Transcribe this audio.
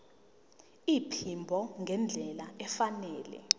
iphimbo ngendlela efanele